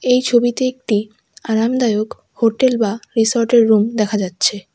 এই ছবিতে একটি আরামদায়ক হোটেল বা রিসোর্টের রুম দেখা যাচ্ছে।